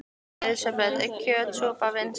Elísabet: Er kjötsúpan vinsæl?